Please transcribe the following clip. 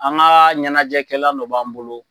An ka ɲɛnajɛkɛlan dɔ b'an bolo.